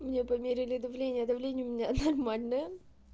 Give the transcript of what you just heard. мне померили давление давление у меня нормальное